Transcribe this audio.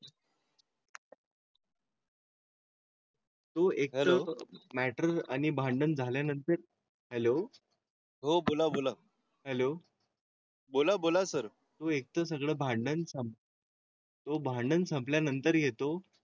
तू एक मॅटर आणि भांडण झाल्यानंतर हेलो. हो बोला बोला हॅलो. बोला, बोला सर तू इतकं सगळं भांड्यांचा? भांडण संपल्या नंतर येतो